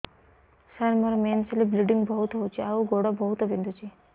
ସାର ମୋର ମେନ୍ସେସ ହେଲେ ବ୍ଲିଡ଼ିଙ୍ଗ ବହୁତ ହଉଚି ଆଉ ଗୋଡ ବହୁତ ବିନ୍ଧୁଚି